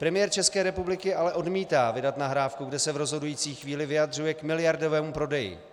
Premiér České republiky ale odmítá vydat nahrávku, kde se v rozhodující chvíli vyjadřuje k miliardovému prodeji.